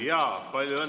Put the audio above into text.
Palju õnne!